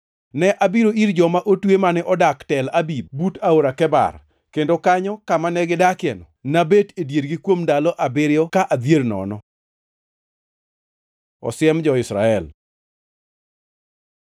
Ne abiro ir joma otwe mane odak Tel Abib but Aora Kebar. Kendo kanyo, kama ne gidakieno; nabet e diergi kuom ndalo abiriyo ka adhier nono. Osiem jo-Israel